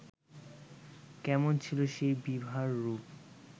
কেমন ছিল সেই বিভার রূপ